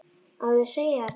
Á ég að segja þér það?